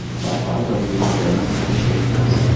Baba atwarithirie ngari nginya gĩcagi